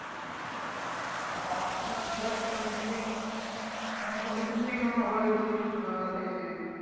Doctor তো ধর চলছেই মানে যতদিন থেকে আমার হয়েছে ছোটবেলা থেকে সেই।